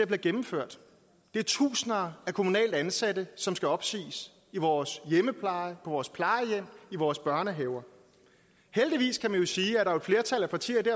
bliver gennemført det er tusinder af kommunalt ansatte som skal opsiges i vores hjemmepleje på vores plejehjem i vores børnehaver heldigvis kan man sige er et flertal af partier i det